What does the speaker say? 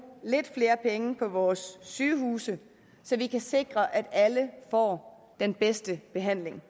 lidt flere penge på vores sygehuse så vi kan sikre at alle får den bedste behandling